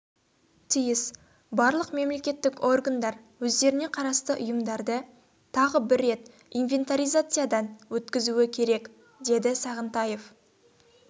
тиіс барлық мемлекеттік органдар өздеріне қарасты ұйымдарды тағы бір рет инвентаризациядан өткізуі керек деді сағынтаев